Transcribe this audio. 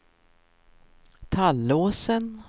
Tallåsen